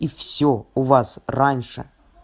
и всё у вас раньше